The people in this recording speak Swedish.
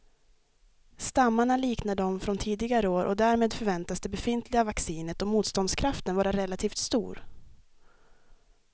Stammarna liknar de från tidigare år och därmed förväntas det befintliga vaccinet och motståndskraften vara relativt stor.